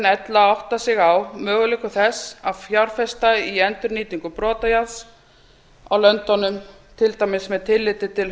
ella áttað sig á möguleikum þess að fjárfesta í endurnýtingu brotajárns í löndunum til dæmis með tilliti til